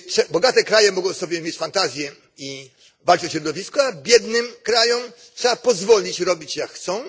Bogate kraje mogą sobie mieć fantazję i walczyć o środowisko, a biednym krajom trzeba pozwolić robić tak, jak chcą.